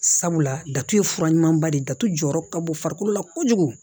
Sabula datugu ye fura ɲumanba de ye datugu jɔyɔrɔ ka bɔ farikolo la kojugu